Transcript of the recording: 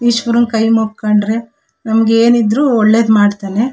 ಈಶ್ವರನ್ ಕೈ ಮೂಕೊಂಡ್ರೆ ನಮ್ಮಗೇನಿದ್ರು ಒಳ್ಳೆದ್ ಮಾಡ್ತನೆ .